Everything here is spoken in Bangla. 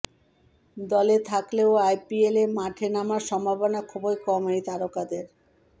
দলে থাকলেও আইপিএলে মাঠে নামার সম্ভাবনা খুবই কম এই তারকাদের